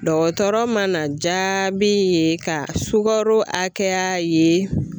Dɔgɔtɔrɔ mana jaabi ye ka sukaro hakɛya ye